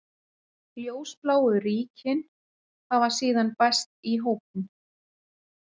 Ljósbláu ríkin hafa síðan bæst í hópinn.